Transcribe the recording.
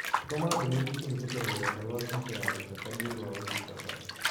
Tũma ndũmĩrĩri kũhĩtũkĩra rũrenda rũa tũita ya gũteta niũundu wa ũtungata